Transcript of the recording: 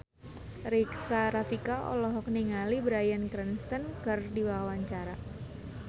Rika Rafika olohok ningali Bryan Cranston keur diwawancara